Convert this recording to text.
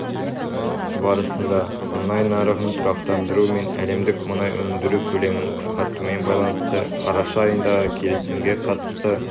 барасында мұнай нарығын тұрақтандыру мен әлемдік мұнай өндіру көлемін қысартумен байланысты қараша айындағы келісімге қатысты